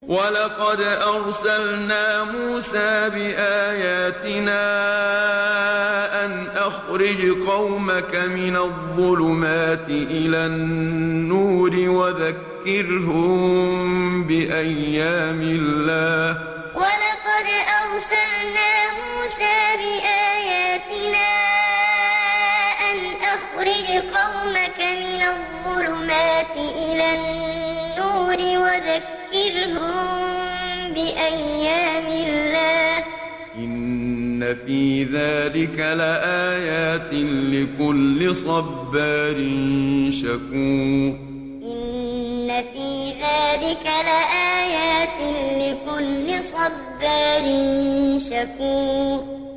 وَلَقَدْ أَرْسَلْنَا مُوسَىٰ بِآيَاتِنَا أَنْ أَخْرِجْ قَوْمَكَ مِنَ الظُّلُمَاتِ إِلَى النُّورِ وَذَكِّرْهُم بِأَيَّامِ اللَّهِ ۚ إِنَّ فِي ذَٰلِكَ لَآيَاتٍ لِّكُلِّ صَبَّارٍ شَكُورٍ وَلَقَدْ أَرْسَلْنَا مُوسَىٰ بِآيَاتِنَا أَنْ أَخْرِجْ قَوْمَكَ مِنَ الظُّلُمَاتِ إِلَى النُّورِ وَذَكِّرْهُم بِأَيَّامِ اللَّهِ ۚ إِنَّ فِي ذَٰلِكَ لَآيَاتٍ لِّكُلِّ صَبَّارٍ شَكُورٍ